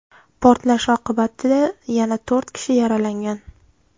Portlash oqibatida yana to‘rt kishi yaralangan.